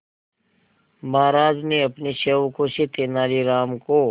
महाराज ने अपने सेवकों से तेनालीराम को